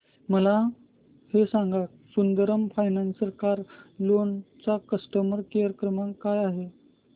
मला हे सांग सुंदरम फायनान्स कार लोन चा कस्टमर केअर क्रमांक काय आहे